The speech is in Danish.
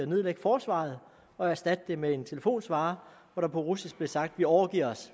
nedlægge forsvaret og erstatte det med en telefonsvarer hvor der på russisk blev sagt vi overgiver os